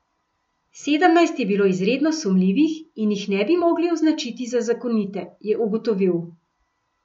Sedemnajst je bilo izredno sumljivih in jih ne bi mogli označiti za zakonite, je ugotovil.